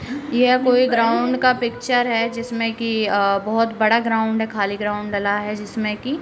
यह कोई ग्राउंड का पिक्चर है। जिसमे की अ बोहोत बड़ा ग्राउंड है। खाली ग्राउंड डला है। जिसमे की --